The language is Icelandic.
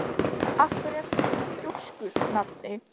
Af hverju ertu svona þrjóskur, Nadia?